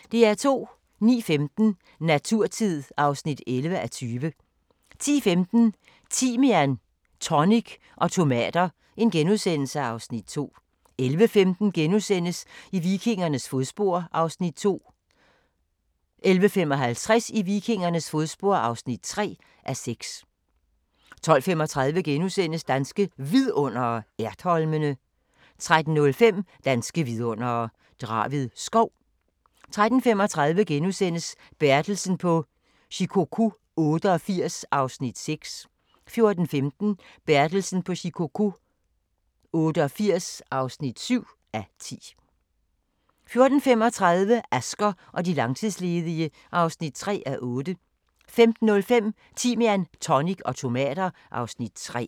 09:15: Naturtid (11:20) 10:15: Timian, tonic og tomater (Afs. 2)* 11:15: I vikingernes fodspor (2:6)* 11:55: I vikingernes fodspor (3:6) 12:35: Danske Vidundere: Ertholmene * 13:05: Danske vidundere: Draved Skov 13:35: Bertelsen på Shikoku 88 (6:10)* 14:05: Bertelsen på Shikoku 88 (7:10) 14:35: Asger og de langtidsledige (3:8) 15:05: Timian, tonic og tomater (Afs. 3)